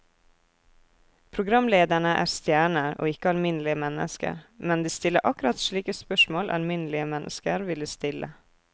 Programlederne er stjerner og ikke alminnelige mennesker, men de stiller akkurat slike spørsmål alminnelige mennesker ville stille.